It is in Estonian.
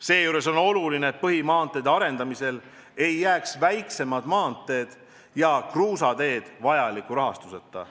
Seejuures on oluline, et põhimaanteede arendamisel ei jääks väiksemad maanteed ja kruusateed vajaliku rahastuseta.